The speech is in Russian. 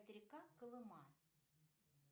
река колыма